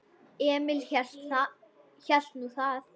Emil hélt nú það.